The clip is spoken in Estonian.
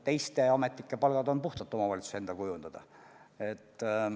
Teiste ametnike palgad on puhtalt omavalitsuse enda kujundada.